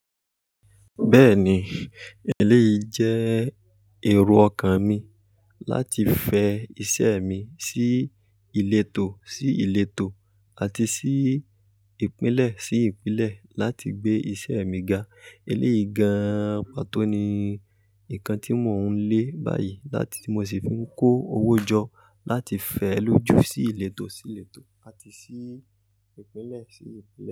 Bẹ́ẹ̀ni, eléyìí jẹ́ èrò ọkàn mi láti fẹ iṣẹ́ mi sí ìletò sí ìletò àti sí ìpínlẹ̀ sí ìpínlẹ̀ láti gbé iṣẹ́ mi ga. Eléyìí gan pató ni nkan tí mò ń lé báyìí láti mo sì fi ń kó owó jọ láti fẹ ló jù sí ìletò sí ìletò làti sí ìpínlẹ̀ sí ìpínlẹ̀